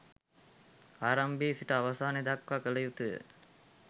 ආරම්භයේ සිට අවසානය දක්වා කල යුතු ය.